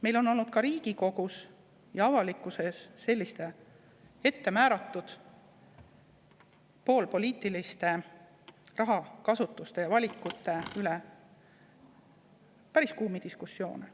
Meil on olnud ka Riigikogus ja avalikkuses selliste ettemääratud poolpoliitiliste rahakasutuste ja valikute üle päris kuumi diskussioone.